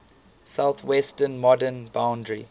southwestern modern boundary